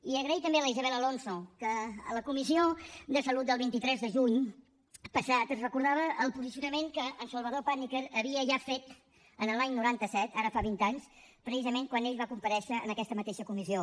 i donar les gràcies a la isabel alonso que a la comissió de salut del vint tres de juny passat ens recordava el posicionament que en salvador pàniker havia ja fet l’any noranta set ara fa vint anys precisament quan ell va comparèixer en aquesta mateixa comissió